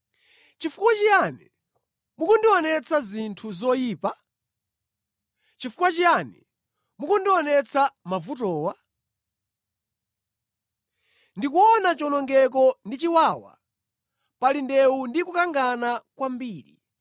Chifukwa chiyani mukundionetsa zinthu zoyipa? Chifukwa chiyani mukundionetsa mavutowa? Ndikuona chiwonongeko ndi chiwawa; pali ndewu ndi kukangana kwambiri.